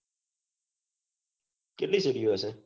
કેટલી સીડિયો હશે